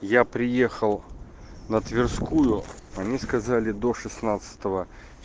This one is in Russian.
я приехал на тверскую они сказали до шестнадцатого